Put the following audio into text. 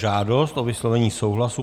Žádost o vyslovení souhlasu